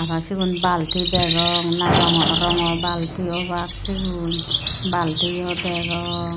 na sigun balti degong na na rongaw rongow balti obak sigun baltiyo degong.